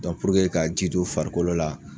Dɔ ka ji d'u farikolo la